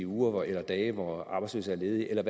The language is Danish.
uger eller dage hvor arbejdsløse er ledige eller